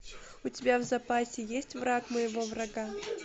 у тебя в запасе есть враг моего врага